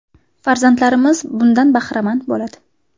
Farzandlarimiz bundan bahramand bo‘ladi.